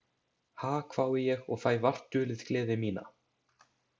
Ha, hvái ég og fæ vart dulið gleði mína.